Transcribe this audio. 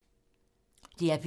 DR P3